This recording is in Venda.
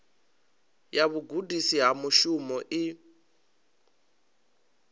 ya vhugudisi ha mushumo i